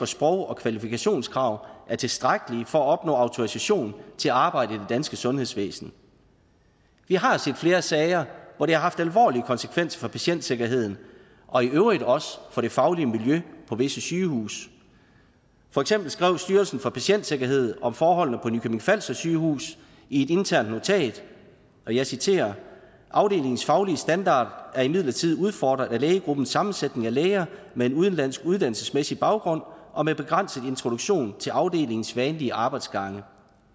sprog og kvalifikationskrav er tilstrækkelige for at opnå autorisation til at arbejde i det danske sundhedsvæsen vi har set flere sager hvor det har haft alvorlige konsekvenser for patientsikkerheden og i øvrigt også for det faglige miljø på visse sygehuse for eksempel skrev styrelsen for patientsikkerhed om forholdene på nykøbing falster sygehus i et internt notat jeg citerer afdelingens faglige standard er imidlertid udfordret af lægegruppens sammensætning af læger med en udenlandsk uddannelsesmæssig baggrund og med begrænset introduktion til afdelingens vanlige arbejdsgange